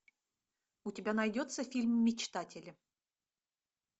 у тебя найдется фильм мечтатели